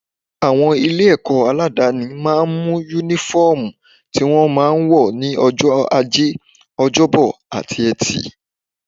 Àwọn ilé-ẹ̀kọ́ aládááni máa ń ní Únífọ́ọ̀mù tí wọ́n máa ń wọ̀ ní ọjọ́ ajé, ọjọ́bọ àti Ẹtì